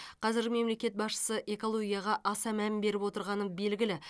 қазір мемлекет басшысы экологияға аса мән беріп отырғаны белгілі